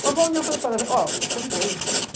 Quando foi um dia eu falei para ela, ó, você não quer ir?